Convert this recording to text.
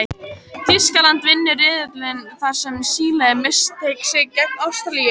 Þýskaland vinnur riðilinn þar sem Síle missteig sig gegn Ástralíu.